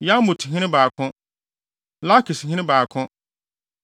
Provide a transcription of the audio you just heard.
Yarmuthene 2 baako 1 Lakishene 2 baako 1